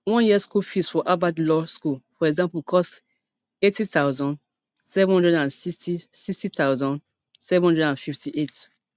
one year school fees for harvard law school for example costs eighty thousand, seven hundred and sixty sixty thousand, seven hundred and fifty-eight